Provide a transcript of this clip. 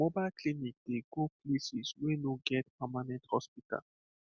mobile clinic dey go places wey no get permanent hospital